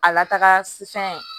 A lataga sisan